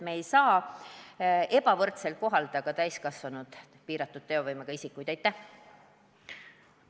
Me ei saa täiskasvanud piiratud teovõimega isikuid kohelda ebavõrdselt.